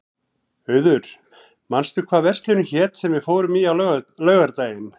Auður, manstu hvað verslunin hét sem við fórum í á laugardaginn?